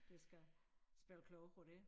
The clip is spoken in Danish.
De skal spille kloge på det